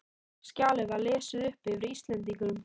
Skjalið var lesið upp yfir Íslendingunum.